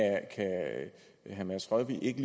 herre mads rørvig ikke